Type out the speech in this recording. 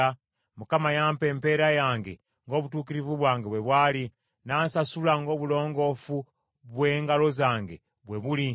“ Mukama yampa empeera yange ng’obutuukirivu bwange bwe bwali; n’ansasula ng’obulongoofu bwe ngalo zange bwe buli.